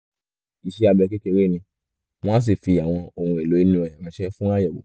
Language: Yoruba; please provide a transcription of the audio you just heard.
iṣẹ́ abẹ kékeré ni wọ́n á sì fi àwọn ohun èlò inú ẹ̀ ránṣẹ́ fún àyẹ̀wò